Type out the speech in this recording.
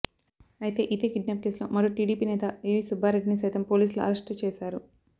అయితే ఇదే కిడ్నాప్ కేసులో మరో టీడీపీ నేత ఏవీ సుబ్బారెడ్డిని సైతం పోలీసులు అరెస్ట్ చేశారు